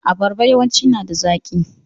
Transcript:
Abarba yawanci nada zaki.